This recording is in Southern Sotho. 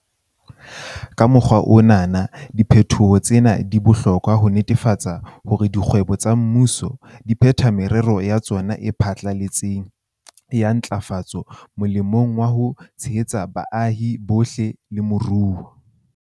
Ka mokgwa ona wona, diphetoho tsena di bohlokwa ho netefatsa hore dikgwebo tsa mmuso di phetha merero ya tsona e pharaletseng ya ntlafatso molemong wa ho tshehetsa baahi bohle le moruo.